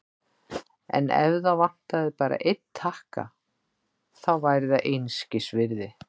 En ef það vantaði bara einn takka, þá væri það einskisvirði.